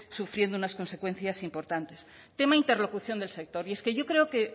sufriendo unas consecuencias importantes tema interlocución del sector y es que yo creo que